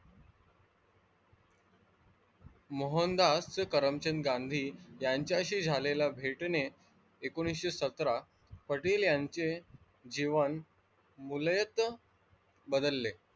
मोहनदास करमचंद गांधी यांच्याशी झालेल्या भेटणे एकोणवीसशे सतरा पटेल यांच्या जीवन मुलेत बदलले.